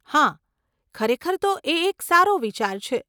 હા, ખરેખર તો એ એક સારો વિચાર છે.